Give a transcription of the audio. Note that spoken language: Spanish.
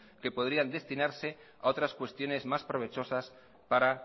que podrían destinarse a otras cuestiones más provechosas para